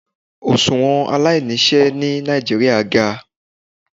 Oṣuwọn alainiṣẹ ni Nigeria ga